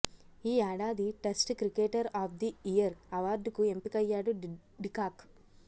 ఈ ఏడాది test cricketer of the year అవార్డుకు ఎంపికయ్యాడు డికాక్